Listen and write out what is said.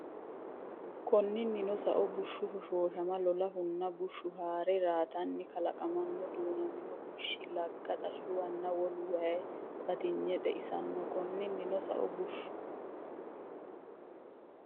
Konninnino sao, bushshu hoshooshama lolahunni bushsha haa’re ratenni kalaqamanno duunamino bushshinni lagga, xashshuwanna wolu wayi batinye xeisanno Konninnino sao, bushshu.